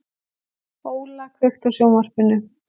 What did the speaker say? Óla, kveiktu á sjónvarpinu.